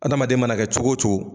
Adamaden mana kɛ cogo o cogo